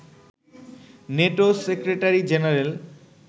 NATO secretary general